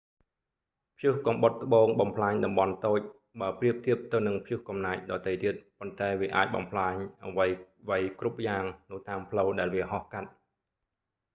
ព្យុះកំបុតត្បូងបំផ្លាញតំបន់តូច បើប្រៀបធៀបទៅនឹងព្យុះកំណាចដទៃទៀត ប៉ុន្តែវាអាចបំផ្លាញអ្វីៗគ្រប់យ៉ាងនៅតាមផ្លូវដែលវាហោះកាត់